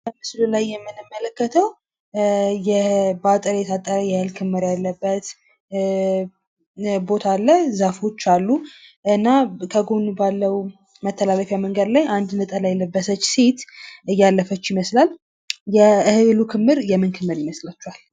በምስሉ ላይ የምንመለከተው በአጥር የታጠረ የእህል ክምር ያለበት ቦታ አለ፣ ዛፎች አሉ። እና ከጎን ባለው መተላለፊያ መንገድ ላይ አንድ ነጠላ የለበሰች ሴት በአጠገቡ እያለፈች ይመስላል። የእህሉ ክምር የምን ክምር ይመስላችኋል?